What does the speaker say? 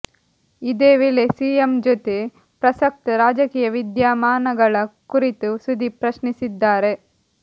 ಇದೇ ವೇಳೆ ಸಿಎಂ ಜೊತೆ ಪ್ರಸಕ್ತ ರಾಜಕೀಯ ವಿದ್ಯಮಾನಗಳ ಕುರಿತು ಸುದೀಪ್ ಪ್ರಶ್ನಿಸಿದ್ದಾರೆ